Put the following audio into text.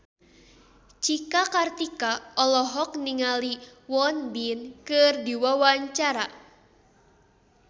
Cika Kartika olohok ningali Won Bin keur diwawancara